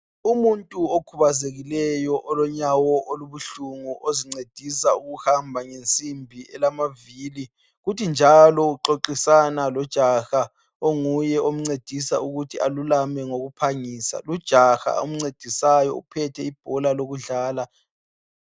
Umuntu okhubazekileyo unyawo ozincedisa ngokuhamba ngensimbi elamavili njalo uxoxisana lojaha omncedisa ngokuthi alulame ngokuphangisa ,lujaha amncedisayo uphethe ibhola lokudlala.